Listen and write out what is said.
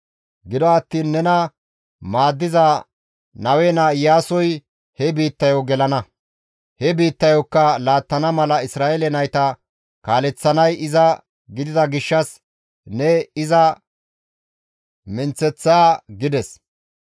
Gido attiin nena maaddiza Nawe naa Iyaasoy he biittayo gelana; he biittayokka laattana mala Isra7eele nayta kaaleththanay iza gidida gishshas ne iza menththeththa› gides.